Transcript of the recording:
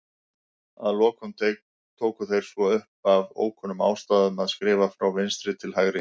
Að lokum tóku þeir svo upp, af ókunnum ástæðum, að skrifa frá vinstri til hægri.